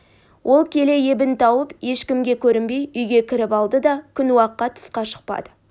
ол келе ебін тауып ешкімге көрінбей үйге кіріп алды да күн уаққа тысқа шықпады